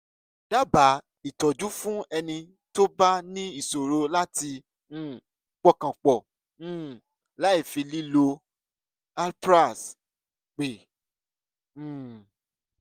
dábàá ìtọ́jú fún ẹnì tó bá ní ìṣòro láti um pọkàn pọ̀ um láìfi lílo alprax pè um